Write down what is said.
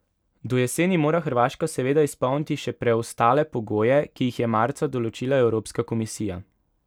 Do jeseni mora Hrvaška seveda izpolniti še preostale pogoje, ki jih je marca določila evropska komisija.